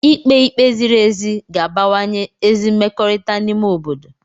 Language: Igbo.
Ikpe ike ziri ezi ga-abawanye ezi mmekọrịta n'ime obodo